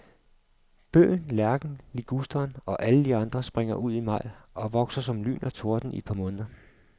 Bøgen, lærken, ligusteren og alle de andre springer ud i maj og vokser som lyn og torden i et par måneder.